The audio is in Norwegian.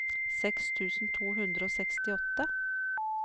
seks tusen to hundre og sekstiåtte